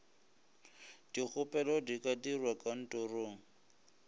dikgopelo di ka dirwa kantorong